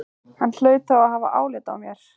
Hann hlaut þá að hafa álit á mér!